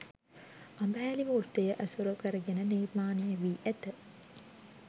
අඹහැලි වෘත්තය ඇසුරු කරගෙන නිර්මාණය වී ඇත